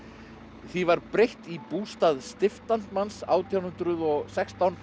því var breytt í bústað stiftamtmanns átján hundruð og sextán